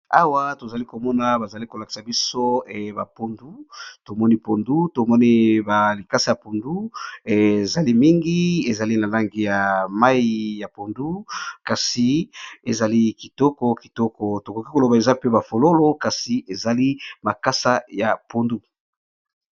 Awa to zali ko mona ba zali ko lakisa biso ba pondu. Tomoni pondu to moni ba likasi ya pondu. Ezali mingi ezali na langi ya mai ya pondu. Kasi ezali kitoko kitoko. To koki koloba eza pe ba fololo kasi ezali makasa ya pondu.